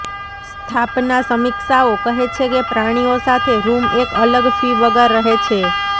સ્થાપના સમીક્ષાઓ કહે છે કે પ્રાણીઓ સાથે રૂમ એક અલગ ફી વગર રહે છે